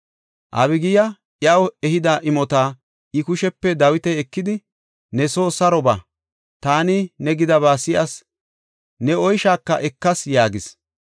Abigiya iyaw ehida imota I kushepe Dawiti ekidi, “Ne soo saro ba; taani ne gidaba si7as; ne oyshaaka ekas” yaagis.